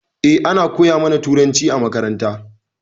Eh ana koya ma na turanci a makaranta.